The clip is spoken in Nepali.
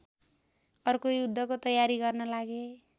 अर्को युद्धको तयारी गर्न लागे